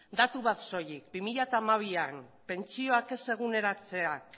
datu bat soilik bi mila hamabian pentsioak ez eguneratzeak